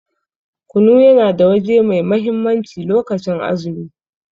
Kunu yana da waje mai mahimmanci lokacin azumi.